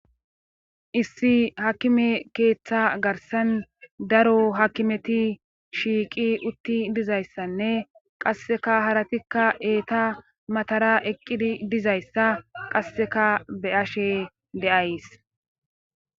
Issi hakime keeththa garsan daro hakimeti shiiqi utti dizayssanne qasseka haratikka eeta matara eqqidi dizayssa qasseka beyashe deays.